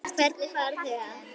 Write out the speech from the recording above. Hvernig fara þau að?